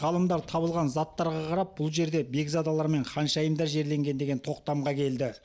ғалымдар табылған заттарға қарап бұл жерде бекзадалар мен ханшайымдар жерленген деген тоқтамға келді